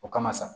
O kama sa